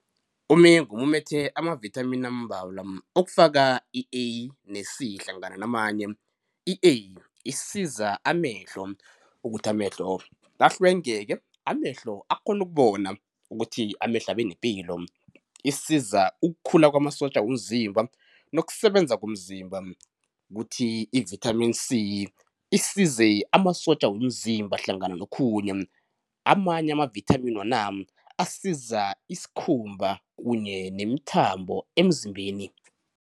Umengu umumethe amavithamini ambalwa okufaka i-A ne-C hlangana namanye. I-A isiza amehlo ukuthi amehlo ahlwengeke, amehlo akghone ukubona, ukuthi amehlo abe nepilo, isiza ukukhula kwamasotja womzimba nokusebenza komzimba kuthi ivithamini C isize amasotja womzimba hlangana nokhunye. Amanye amavithamini wona asiza isikhumba kunye nemithambo emzimbeni.